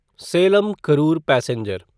Salem Karur passenger